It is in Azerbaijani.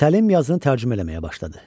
Səlim yazını tərcümə eləməyə başladı.